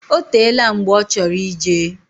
Otela mgbe ochoro ijee.